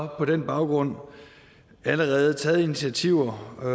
den baggrund allerede taget nogle initiativer og